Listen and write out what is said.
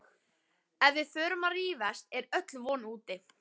Ef við förum að rífast er öll von úti